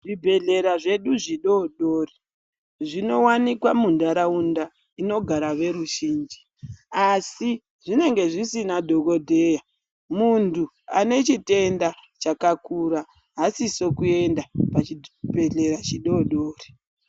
Zvibhedhlera zvedu zvidodori, zvinowanikwa muntaraunda, inogara veruzvinji, asi zvinenge zvisina dhokodheya. Muntu ane chitenda chakakura haasiso kuenda pachibhedhlera chidodori.